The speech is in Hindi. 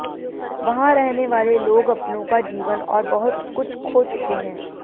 वहां रहने वाले लोग अपनों का जीवन और बहुत कुछ खो चुके हैं